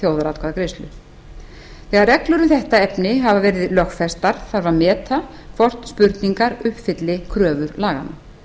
þjóðaratkvæðagreiðslu þegar reglur um þetta efni hafa verið lögfestar þarf að meta hvort spurningar uppfylli kröfur laganna